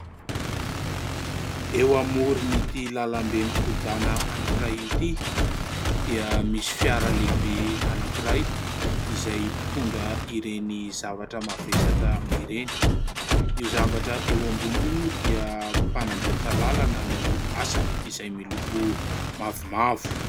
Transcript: Eo amoron'ity lalambe mikodana anankiray ity dia misy fiara lehibe anankiray izay mpitondra ireny zavatra mavesatra ireny. Io zavatra eo amboniny io moa dia mpanamboatra lalana no asany izay miloko mavomavo.